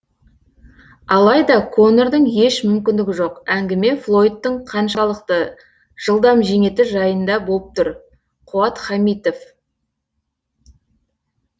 алайда конордың еш мүмкіндігі жоқ әңгіме флойдтың қаншалықты жылдам жеңеді жайында болып тұр қуат хамитов